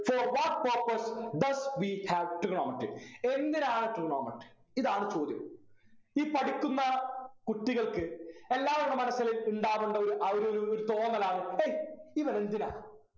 for what purpose does we have trigonometry എന്തിനാണ് trigonometry ഇതാണ് ചോദ്യം ഈ പഠിക്കുന്ന കുട്ടികൾക്ക് എല്ലാവരുടെ മനസില് ഇണ്ടാവണ്ട ആ ഒരു ഒരു ഒരു തോന്നലാണ് എയ് ഇവരെന്തിനാ